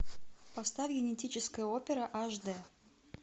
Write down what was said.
поставь генетическая опера аш д